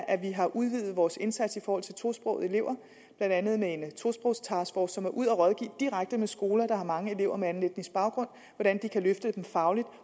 at vi har udvidet vores indsats i forhold til tosprogede elever blandt andet med en tosprogstaskforce som er ude at rådgive direkte på skoler der har mange elever med anden etnisk baggrund om hvordan de kan løfte dem fagligt